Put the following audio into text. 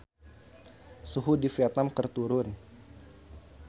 Suhu di Vietman keur turun